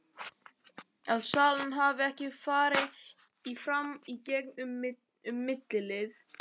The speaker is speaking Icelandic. Að salan hafi ekki farið fram í gegn um millilið.